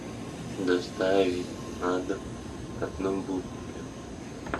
доставить на дом одну булку хлеба